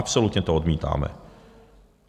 Absolutně to odmítáme.